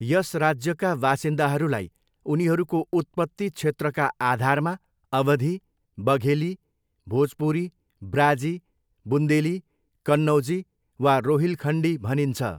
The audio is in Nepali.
यस राज्यका बासिन्दाहरूलाई उनीहरूको उत्पत्ति क्षेत्रका आधारमा अवधी, बघेली, भोजपुरी, ब्राजी, बुन्देली, कन्नौजी वा रोहिलखण्डी भनिन्छ।